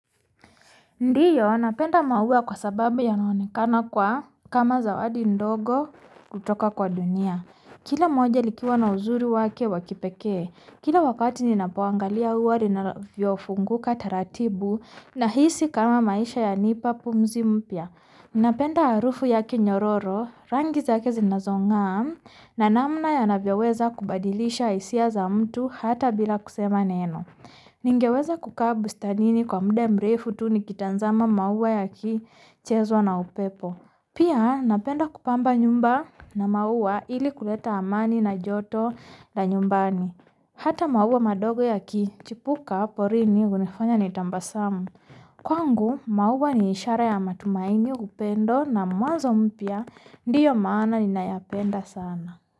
Ndio, napenda maua kwa sababu yanaonekana kama zawadi ndogo kutoka kwa dunia. Kila moja likiwa na uzuri wake waki pekee, kila wakati ninapoangalia ua linavyofunguka taratibu nahisi kama maisha yanipa pumzi mpya Napenda harufu yake nyororo, rangi zake zinazongaa na namna yanavyoweza kubadilisha hisia za mtu hata bila kusema neno. Ningeweza kukaa bustanini kwa muda mrefu tu nikitazama maua yakichezwa na upepo. Pia napenda kupamba nyumba na maua ili kuleta amani na joto la nyumbani. Hata maua madogo yaki chipuka porini hunifanya nitabasamu. Kwangu maua ni ishara ya matumaini upendo na mwanzo mpya Ndio maana ninayapenda sana.